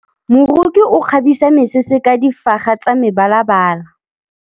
Moroki o kgabisa mesese ka difaga tsa mebalabala.